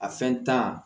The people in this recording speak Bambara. A fɛn